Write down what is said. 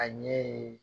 A ɲɛ ye